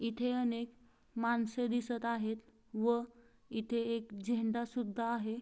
इथे अनेक माणसे दिसत आहेत व इथे एक झेंडा सुद्धा आहे.